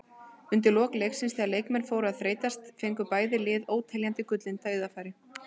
Undir lok leiksins þegar leikmenn fóru að þreytast fengu bæði lið óteljandi gullin dauðafæri.